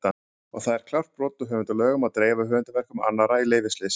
Og það er klárt brot á höfundalögum að dreifa höfundarverkum annarra í leyfisleysi!